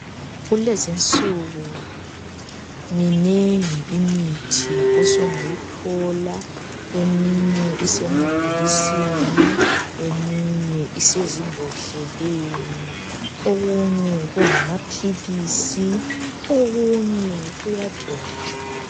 Kulezinsuku minengi imithi osungayithola. Eminye isemabhokisini lezimbodleleni okunye kungamaphalisi lokugcotshwayo.